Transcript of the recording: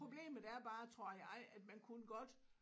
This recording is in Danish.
Problemet er bare tror jeg at man kunne godt